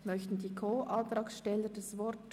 Wünschen die Co-Antragsteller das Wort?